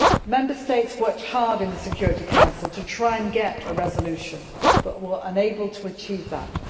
Member States worked hard in the Security Council to try to get a resolution but were unable to achieve that.